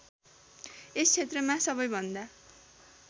यस क्षेत्रमा सबैभन्दा